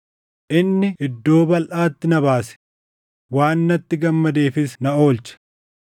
Inni iddoo balʼaatti na baase; waan natti gammadeefis na oolche.